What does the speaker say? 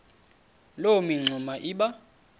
loo mingxuma iba